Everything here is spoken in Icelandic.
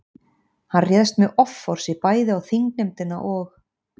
Hann réðst með offorsi bæði á þingnefndina og